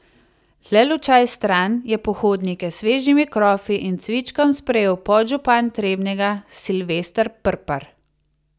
Le lučaj stran je pohodnike s svežimi krofi in cvičkom sprejel podžupan Trebnjega Silvester Prpar.